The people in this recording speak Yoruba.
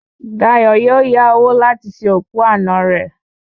Dayọ̀ yóò yá owó láti ṣe òkú àná rẹ̀